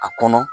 A kɔnɔ